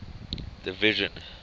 division